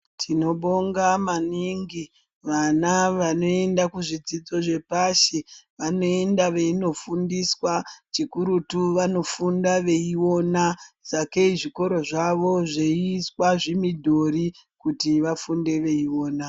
Tinobonga maningi vana vanoenda ku zvidzidzo zve pashi vanoenda veino fundiswa chi kurutu vanofunda veiona sake zvikora zvavo zveiswa zvimidhori kuti vafunde veiona.